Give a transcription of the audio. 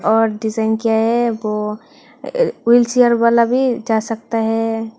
और डिजाइन किया है वो व्हीलचेयर वाला भी जा सकता है।